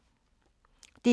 DR1